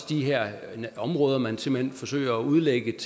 de her områder man simpelt hen forsøger at udlægge